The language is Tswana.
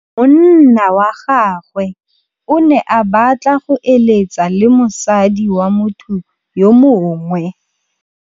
Monna wa gagwe o ne a batla go êlêtsa le mosadi wa motho yo mongwe.